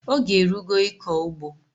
Oge erugo ịkọ ugbo!